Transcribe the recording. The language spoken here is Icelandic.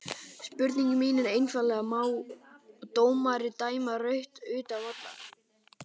Spurningin mín er einfaldlega má dómari dæma rautt utan vallar?